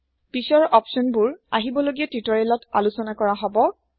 পিছৰ অপচন বোৰ আহিব লগিয়া টিউটৰিয়েল তআলোচনাকৰাহব